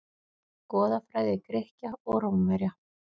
Goðafræði Grikkja og Rómverja.